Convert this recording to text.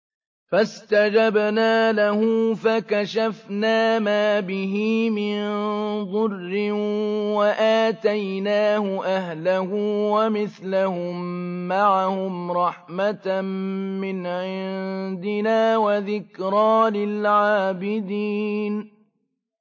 فَاسْتَجَبْنَا لَهُ فَكَشَفْنَا مَا بِهِ مِن ضُرٍّ ۖ وَآتَيْنَاهُ أَهْلَهُ وَمِثْلَهُم مَّعَهُمْ رَحْمَةً مِّنْ عِندِنَا وَذِكْرَىٰ لِلْعَابِدِينَ